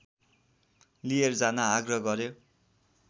लिएर जान आग्रह गर्‍यो